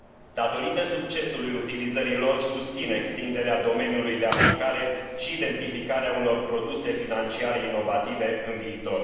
Datorită succesului utilizării lor, susțin extinderea domeniului de aplicare și identificarea unor produse financiare inovative în viitor.